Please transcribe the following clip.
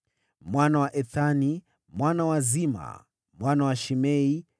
mwana wa Ethani, mwana wa Zima, mwana wa Shimei,